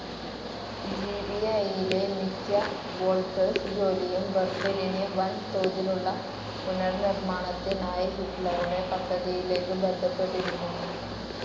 ജിബിഐയിലെ മിക്ക വോൾട്ടേഴ്സ് ജോലിയും ബർലിനിൽ വൻ തോതിലുള്ള പുനർനിർമ്മാണത്തിനായി ഹിറ്റ്ലറുടെ പദ്ധതിയിലേക്ക് ബന്ധപ്പെട്ടിരിക്കുന്നു.